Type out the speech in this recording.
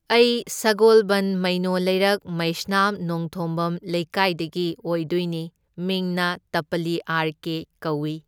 ꯑꯩ ꯁꯒꯣꯜꯕꯟ ꯃꯩꯅꯣ ꯂꯩꯔꯛ ꯃꯩꯁꯅꯥꯝ ꯅꯣꯡꯊꯣꯝꯕꯝ ꯂꯩꯀꯥꯏꯗꯒꯤ ꯑꯣꯏꯗꯣꯏꯅꯤ, ꯃꯤꯡꯅ ꯇꯄꯂꯤ ꯑꯥꯔ ꯀꯦ ꯀꯧꯢ꯫